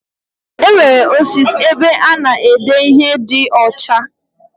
Enwere osis ebe ana ede ihe di ocha.